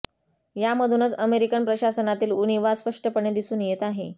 यामधूनच अमेरिकन प्रशासनातील उणिवा स्पष्टपणे दिसून येत आहे